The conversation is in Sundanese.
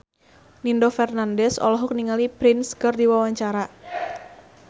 Nino Fernandez olohok ningali Prince keur diwawancara